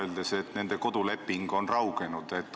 Kas nad võiks öelda, et sõlmitud kodulaenu leping on raugenud?